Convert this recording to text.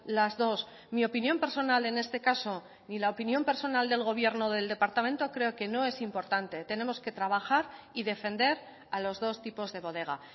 las dos mi opinión personal en este caso ni la opinión personal del gobierno del departamento creo que no es importante tenemos que trabajar y defender a los dos tipos de bodega